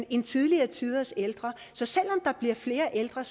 end tidligere tiders ældre så selv om der bliver flere ældre